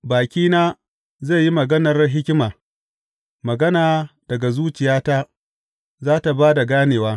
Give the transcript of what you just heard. Bakina zai yi maganar hikima; magana daga zuciyata za tă ba da ganewa.